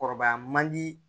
Kɔrɔbaya man di